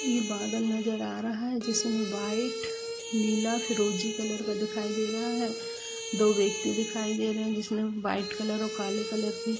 ई बादल नजर आ रहा है जिसमे वाइट नीला फिरोजी कलर का दिखाई दे रहा हैं दो व्यक्ति दिखाई दे रहे हैं जिसने वाइट कलर और काले कलर की --